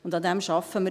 Daran arbeiten wir.